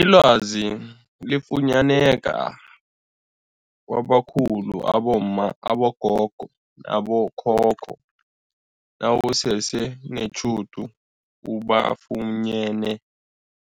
Ilwazi liyafunyaneka kwabakhulu abomma, abogogo nabo khokho nawusese netjhudu ubafunyene